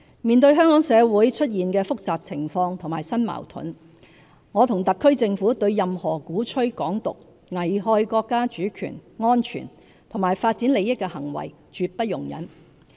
面對香港社會出現的複雜情況和新矛盾，我和特區政府對任何鼓吹"港獨"，危害國家主權、安全及發展利益的行為絕不容忍。